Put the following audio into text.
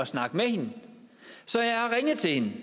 snakke med hende så jeg har ringet til hende